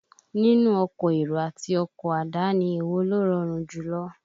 Nínú ọkọ̀ èrò àti ọkọ àdáni, èwo ló rọrùn jùlọ?